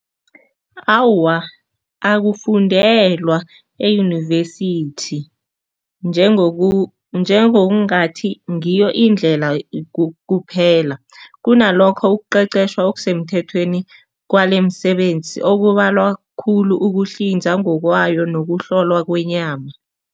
Awa, akufundelwa eyunivesithi njengokungathi ngiyo indlela kuphela kunalokho ukuqeqeshwa okusemthethweni kwalemsebenzi okubalwa khulu ukuhlinza ngokwayo nokuhlolwa kwenyama.